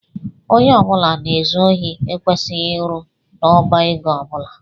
Ónyé ọbula na ezu ohi ekwesịghị ịrụ n' ọbá égo ọbula.